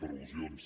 per al·lusions